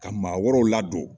Ka maa wɛrɛw ladon.